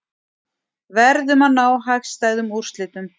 Verðum að ná hagstæðum úrslitum